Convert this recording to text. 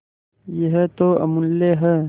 यह तो अमुल्य है